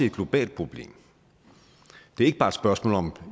et globalt problem det er ikke bare et spørgsmål om